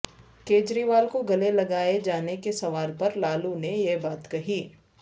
کیجریوال کو گلے لگائے جانے کے سوال پر لالو نے یہ بات کہی